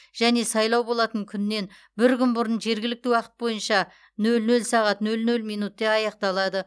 және сайлау болатын күннен бір күн бұрын жергілікті уақыт бойынша нөл нөл сағат нөл нөл минутта аяқталады